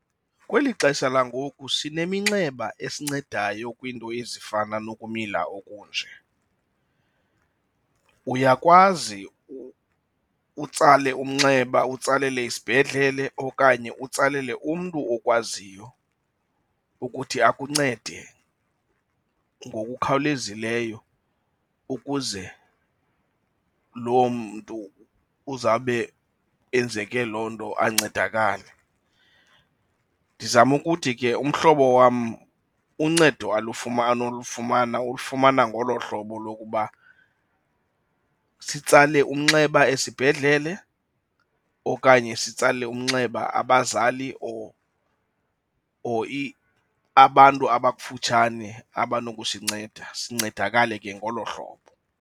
Kweli xesha langoku sineminxeba esincedayo kwiinto ezifana nokumila okunje, uyakwazi utsale umnxeba utsalele isibhedlele okanye utsalele umntu okwaziyo ukuthi akuncede ngokukhawulezileyo ukuze loo mntu uzawube enzeke loo nto ancedakale. Ndizama ukuthi ke umhlobo wam uncedo alufumana olufumana ulifumana ngolo hlobo lokuba sitsale umnxeba esibhedlele okanye sitsale umnxeba abazali or or abantu abakufutshane abanokusinceda, sincedakale ke ngolo hlobo.